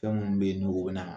Fɛn minnu bɛ yen n'u bɛ na